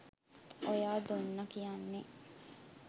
ඔයා දුන්නා කියන්නේ